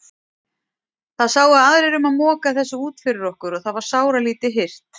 Það sáu aðrir um að moka þessu út fyrir okkur og það var sáralítið hirt.